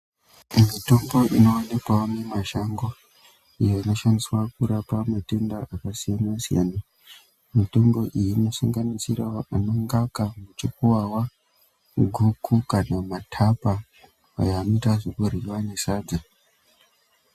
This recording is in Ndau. Mitombo inowanikwawo mumashango iyo inoshandiswa kurapa matenda akasiyana siyana, mitombo iyi inosanganisirawo ana ngaka muchukuwawa, guku kana matapa aya anoita zvekuryiwa nesadza